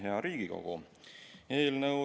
Hea Riigikogu!